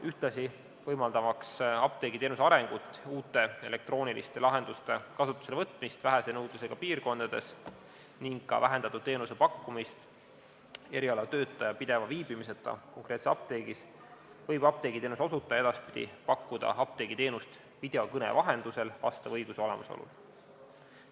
Ühtlasi, võimaldamaks apteegiteenuse arengut, uute elektrooniliste lahenduste kasutuselevõtmist vähese nõudlusega piirkondades ning ka vähendatud teenuse pakkumist erialatöötaja pideva viibimiseta konkreetses apteegis, võib apteegiteenuse osutaja edaspidi pakkuda apteegiteenust videokõne vahendusel vastava õiguse olemasolul.